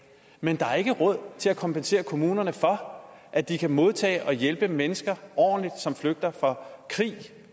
men der er ikke råd til at kompensere kommunerne for at de kan modtage og hjælpe mennesker ordentligt som flygter fra krig